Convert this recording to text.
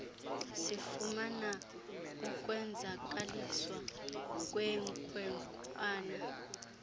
sifumana ukwenzakaliswa kwenkwenkwana